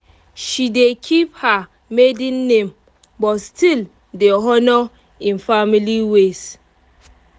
she dey keep her maiden name but still dey honour im family ways